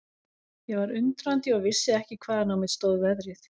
Ég var undrandi og vissi ekki hvaðan á mig stóð veðrið.